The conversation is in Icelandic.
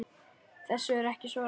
Þessu er ekki svarað.